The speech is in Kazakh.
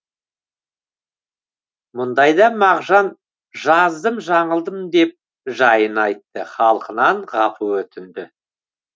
мұндайда мағжан жаздым жаңылдым деп жайын айтты халқынан ғапу өтінді